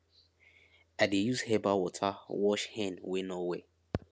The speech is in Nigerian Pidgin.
i dey use herbal water wash hen wey no well